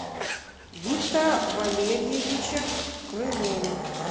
виктора валерьевича крылова